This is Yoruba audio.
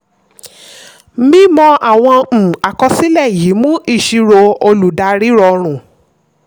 mímọ àwọn um àkọsílẹ̀ yìí mú ìṣirò olùdarí rọrùn.